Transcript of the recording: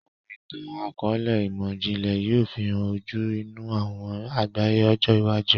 Awọn itan-akọọlẹ imọ-jinlẹ yoo fihàn ojú inú awọn àgbáyé ọjọ iwájú.